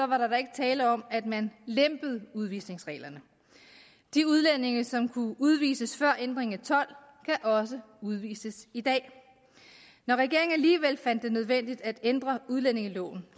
var der ikke tale om at man lempede udvisningsreglerne de udlændinge som kunne udvises før ændringen i tolv kan også udvises i dag når regeringen alligevel fandt det nødvendigt at ændre udlændingeloven